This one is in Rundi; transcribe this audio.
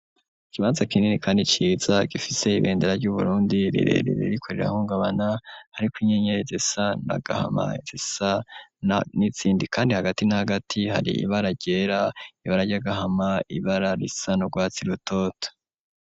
Ikibanza kinini kandi ciza, gifise ibendera ry'uburundi, rirerere ririko rira hungabana ,hariko inyenyeri zisa na gahama, risa n'izindi kandi hagati n'agati hari ibara ryera, ibara ryagahama, ibara risa n'urwatsi rutoto.